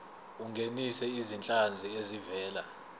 ungenise izinhlanzi ezivela